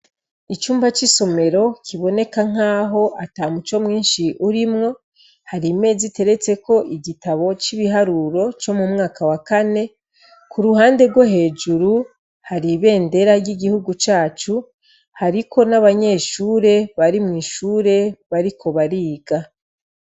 icyumba cy'isomero kiboneka nkaho ata muco mwinshi urimwo hari imeza iteretse ko igitabo cy'ibiharuro cyo mu mwaka wa kane ku ruhande rwo hejuru hari bendera ry'igihugu cacu hariko n'abanyeshure bari mwishure bariko bariga